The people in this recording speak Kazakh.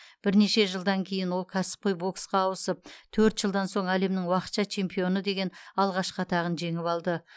бірнеше жылдан кейін ол кәсіпқой боксқа ауысып төрт жылдан соң әлемнің уақытша чемпионы деген алғашқы атағын жеңіп алды